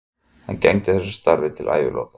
Hann gegndi þessu starfi til æviloka.